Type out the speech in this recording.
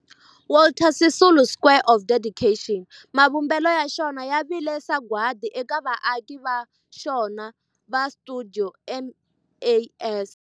Walter Sisulu Square of Dedication, mavumbelo ya xona ya vile sagwadi eka vaaki va xona va stuidio MAS.